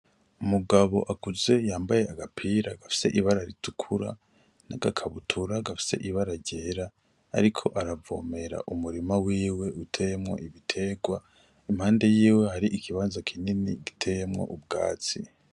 Umugabo akuze yambaye agapira gafise ibara ritukura n'agakabutura gafise ibara ryera ariko aravomera umurima wiwe uteyemwo ibiterwa. Impande y'iwe hari ikibanza kinini giteyemwo ubwatsi.